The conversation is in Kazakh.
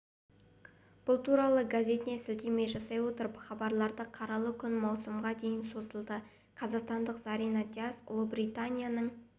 бұл туралы газетіне сілтеме жасай отырып хабарлады қаралы күн маусымға дейін созылады қазақстандық зарина дияс ұлыбританияның